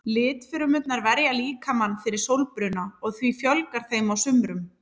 Litfrumurnar verja líkamann fyrir sólbruna og því fjölgar þeim á sumrum.